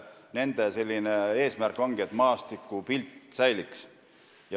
Nende eesmärk ongi see, et maastikupilt säiliks.